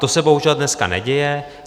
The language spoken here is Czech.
To se bohužel dneska neděje.